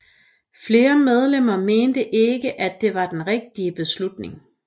Flere medlemmer mente ikke at det var den rigtige beslutning